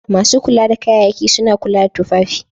Masu kula da kayayyaki suna kula da tufafi.